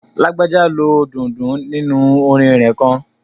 Lágbájá lo dundun nínu orin rẹ̀ kan